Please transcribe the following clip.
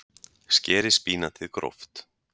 Skerið spínatið gróft.